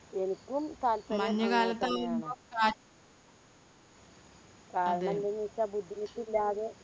എനിക്കും താല്പര്യം കാരാണെന്തുന്ന് വെച്ചാൽ ബുദ്ധിമുട്ടില്ലാതെ